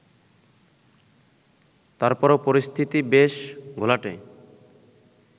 তারপরও পরিস্থিতি বেশ ঘোলাটে